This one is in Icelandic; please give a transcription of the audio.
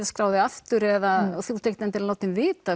að skrá þig aftur eða þú ert ekkert endilega látin vita